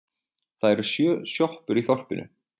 Það eru sjö sjoppur í þorpinu!